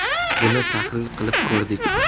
Buni tahlil qilib ko‘rdik.